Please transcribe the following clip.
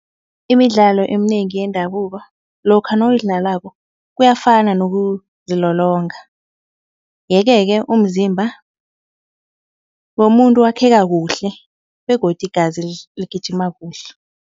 Imidlalo eminengi yendabuko lokha nawuyidlalako kuyafana nokuzilolonga. Yeke-ke umzimba womuntu wakheka kuhle begodu igazi ligijima kuhle.